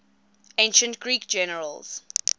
ancient greek generals